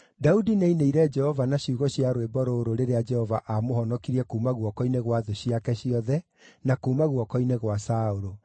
Daudi nĩainĩire Jehova na ciugo cia rwĩmbo rũrũ rĩrĩa Jehova aamũhonokirie kuuma guoko-inĩ gwa thũ ciake ciothe na kuuma guoko-inĩ gwa Saũlũ.